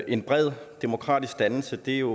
en bred demokratisk dannelse er jo